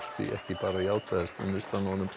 því ekki bara játaðist unnustan honum